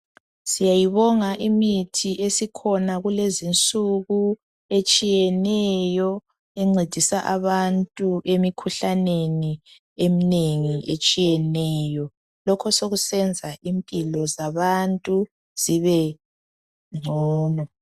Siyayibonga imithi esikhona kulezinsuku etshiyeneyo encedisa abantu emikhuhlaneni eminengi etshiyeneyo lokhu sokusenza impilo zabantu zibengcono.